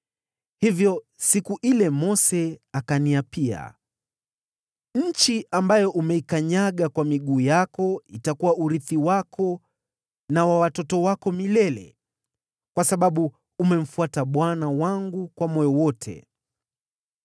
Hivyo katika siku ile, Mose akaniapia, ‘Nchi ambayo umeikanyaga kwa miguu yako itakuwa urithi wako na wa watoto wako milele, kwa sababu umemfuata Bwana Mungu wangu kwa moyo wote.’